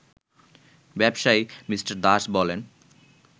ব্যবসায়ী মি. দাস বলেন